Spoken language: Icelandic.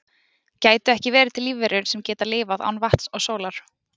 Gætu ekki verið til lífverur sem geta lifað án vatns og sólar?